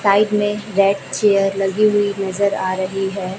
Side में red chair लगी हुई नजर आ रही है।